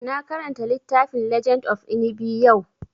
Na karanta littafin legend of Inigɓi yau